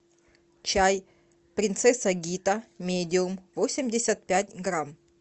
чай принцесса гита медиум восемьдесят пять грамм